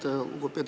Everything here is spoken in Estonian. Aitäh!